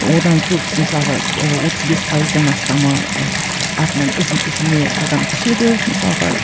одан көбісі мысалға ы отыз бес пайыздан астамы ы артынан ізін ізіне адам түседі мысалға